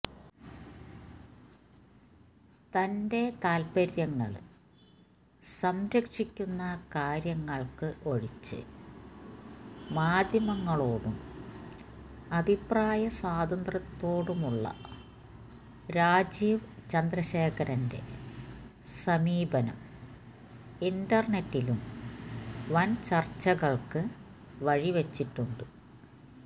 തന്റെ താത്പര്യങ്ങള് സംരക്ഷിക്കുന്ന കാര്യങ്ങള്ക്ക് ഒഴിച്ച് മാധ്യമങ്ങളോടും അഭിപ്രായ സ്വാതന്ത്ര്യത്തോടുമുള്ള രാജീവ് ചന്ദ്രഖേരന്റെ സമീപനം ഇന്റര്നെറ്റിലും വന് ചര്ച്ചകള്ക്ക് വഴിവച്ചിട്ടുണ്ട്